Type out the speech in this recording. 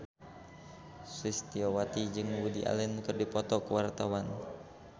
Sulistyowati jeung Woody Allen keur dipoto ku wartawan